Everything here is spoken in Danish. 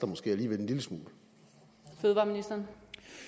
måske alligevel haster